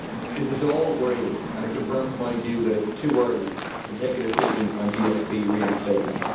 This is all worrying, and it confirms my view that it is too early to take a decision on GSP reinstatement.